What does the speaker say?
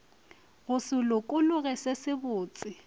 go se lokologe se sebotse